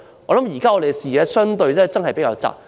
我們的視野真是比較狹窄。